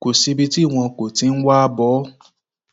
kò síbi tí wọn kò ti ń wáá bọ ọ